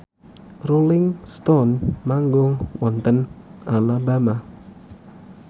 Rolling Stone manggung wonten Alabama